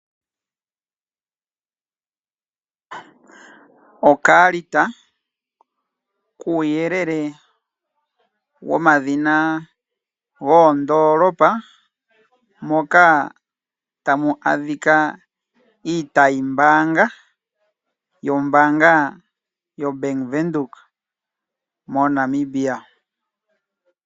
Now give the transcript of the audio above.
Okaalita kuuyelele womadhina goondolopa moka tamu adhika iitayimbaanga yombaanga yoBank Windhoek moNamibia.